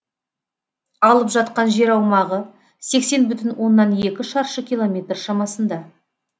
алып жатқан жер аумағы сексен бүтін оннан екі шаршы километр шамасында